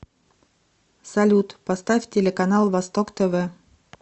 салют поставь телеканал восток тв